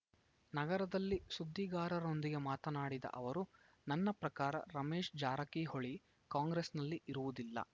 ನಗರದಲ್ಲಿ ಸುದ್ದಿಗಾರರೊಂದಿಗೆ ಮಾತನಾಡಿದ ಅವರು ನನ್ನ ಪ್ರಕಾರ ರಮೇಶ್‌ ಜಾರಕಿಹೊಳಿ ಕಾಂಗ್ರೆಸ್‌ನಲ್ಲಿ ಇರುವುದಿಲ್ಲ